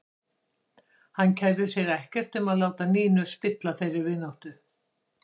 Hann kærði sig ekkert um að láta Nínu spilla þeirri vináttu.